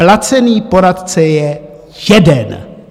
Placený poradce je jeden.